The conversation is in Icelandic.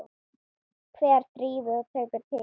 Hver þrífur og tekur til?